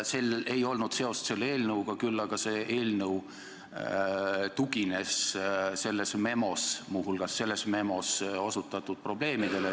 Sellel ei olnud seost selle eelnõuga, küll aga see eelnõu tugines selles memos – muuhulgas selles memos – osutatud probleemidele.